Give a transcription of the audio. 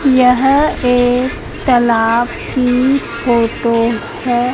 यह एक तालाब की फोटो है।